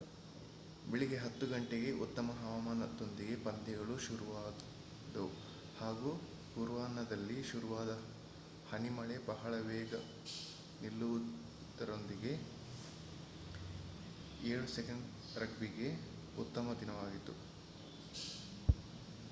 ಬೆಳಿಗ್ಗೆ 10.00 ಗಂಟೆಗೆ ಉತ್ತಮ ಹವಾಮಾನದೊಂದಿಗೆ ಪಂದ್ಯಗಳು ಶುರುವಾದವು ಹಾಗು ಪೂರ್ವಾಹ್ನದಲ್ಲಿ ಶುರುವಾದ ಹನಿಮಳೆ ಬಹಳ ಬೇಗ ನಿಲ್ಲುವುದರೊಂದಿಗೆ 7's ರಗ್ಬಿ ಗೆ ಉತ್ತಮ ದಿನವಾಗಿದೆ